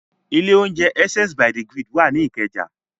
Ilé-oúnjẹ Essence by the Grid wà ní Ìkẹjà.